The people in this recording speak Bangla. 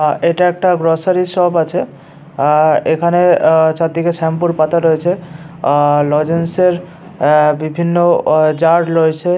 আ এটা একটা গ্রোসারি শপ আছে। আ আ এখানে আ চারদিকে শ্যাম্পুর পাতা রয়েছে। লজেন্স এর এ বিভিন্ন অ জার্ রয়েছে।